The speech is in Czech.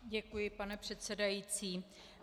Děkuji, pane předsedající.